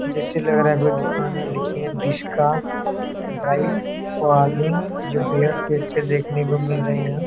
जैसा लग रहा है कोई दुकान है। लिखिए बीस का ब्राइट फाल्लिंग जो बेहद ही अच्छा देखने को मिल रहा है यहाँ |